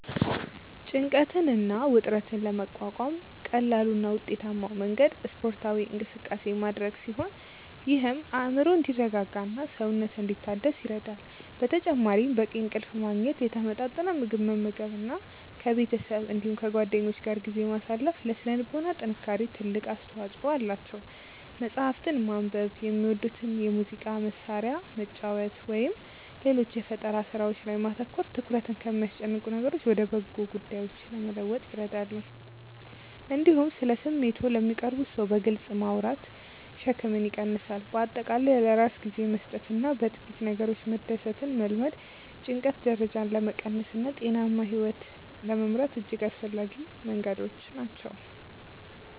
ጭንቀትን እና ውጥረትን ለመቋቋም ቀላሉ እና ውጤታማው መንገድ ስፖርታዊ እንቅስቃሴ ማድረግ ሲሆን ይህም አእምሮ እንዲረጋጋና ሰውነት እንዲታደስ ይረዳል። በተጨማሪም በቂ እንቅልፍ ማግኘት፣ የተመጣጠነ ምግብ መመገብ እና ከቤተሰብ እንዲሁም ከጓደኞች ጋር ጊዜ ማሳለፍ ለሥነ ልቦና ጥንካሬ ትልቅ አስተዋጽኦ አላቸው። መጽሐፍትን ማንበብ፣ የሚወዱትን የሙዚቃ መሣሪያ መጫወት ወይም ሌሎች የፈጠራ ሥራዎች ላይ ማተኮር ትኩረትን ከሚያስጨንቁ ነገሮች ወደ በጎ ጉዳዮች ለመለወጥ ይረዳሉ። እንዲሁም ስለ ስሜቶችዎ ለሚቀርቡዎት ሰው በግልጽ ማውራት ሸክምን ይቀንሳል። በአጠቃላይ ለራስ ጊዜ መስጠትና በጥቂት ነገሮች መደሰትን መልመድ የጭንቀት ደረጃን ለመቀነስና ጤናማ ሕይወት ለመምራት እጅግ አስፈላጊ መንገዶች ናቸው።